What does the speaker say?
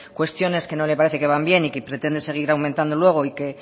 cuestiones que no le parecen que van bien y que pretende seguir aumentando luego y que